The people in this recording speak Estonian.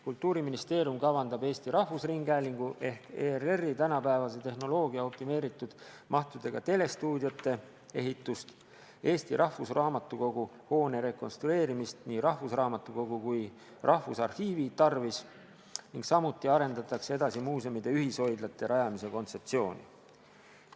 Kultuuriministeerium kavandab Eesti Rahvusringhäälingu ehk ERR-i tänapäevase tehnoloogia ja optimeeritud mahtudega telestuudiote ehitust, Eesti Rahvusraamatukogu hoone rekonstrueerimist nii rahvusraamatukogu kui ka Rahvusarhiivi tarvis, samuti arendatakse edasi muuseumide ühishoidlate rajamise kontseptsiooni.